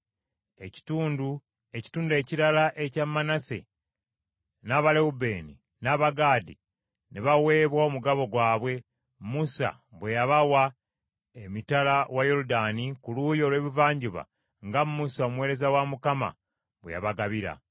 Ekitundu ekirala ekya Manase, n’Abalewubeeni n’Abagaadi ne baweebwa omugabo gwabwe, Musa bwe yabawa emitala wa Yoludaani ku luuyi olw’ebuvanjuba nga Musa omuweereza wa Mukama bwe yabagabira.